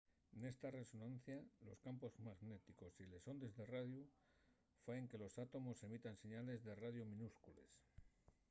nesta resonancia los campos magnéticos y les ondes de radiu faen que los atómos emitan señales de radiu minúscules